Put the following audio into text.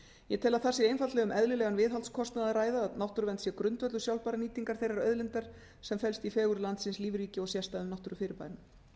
ég tel að þar sé einfaldlega um eðlilegan viðhaldskostnað að ræða að náttúruvernd sé grundvöllur sjálfbærrar nýtingar þeirrar auðlindar sem felst í fegurð landsins lífríki og sérstæðum náttúrufyrirbærum